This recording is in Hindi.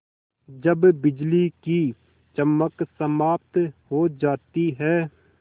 जब बिजली की चमक समाप्त हो जाती है